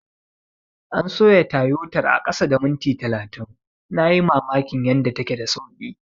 An soya Tayotar a kasa da minti talatin, na yi mamakin yanda take da sauki.